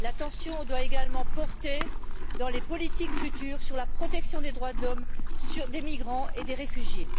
L'attention doit également porter, dans les politiques futures, sur la protection des droits de l'homme, des migrants et des réfugiés.